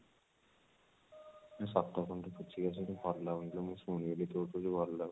ସତ କହୁନୁ ଟିକେ ବୁଝିକି ଆସିବୁ ଟିକେ ଭଲ ଲାଗୁନି ଟିକେ ମୁଁ ଶୁଣିବି ତୋ ଠୁ